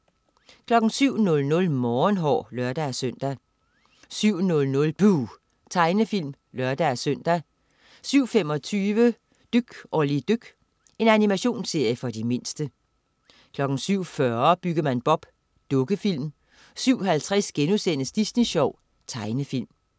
07.00 Morgenhår (lør-søn) 07.00 Buh! Tegnefilm (lør-søn) 07.25 Dyk Olli dyk. Animationsserie for de mindste 07.40 Byggemand Bob. Dukkefilm 07.50 Disney Sjov.* Tegnefilm